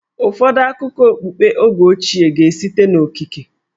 Ụfọdụ akụkọ okpukpe oge ochie ga-esite n'okike.